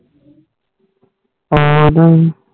fed ਹੋਈ